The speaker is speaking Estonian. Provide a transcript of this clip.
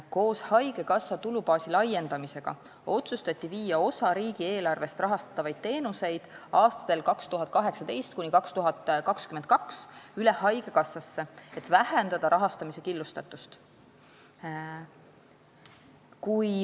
Koos haigekassa tulubaasi laiendamisega otsustati viia osa riigieelarvest rahastatavate teenuste rahastamine aastatel 2018–2022 üle haigekassasse, et vähendada rahastamise killustatust.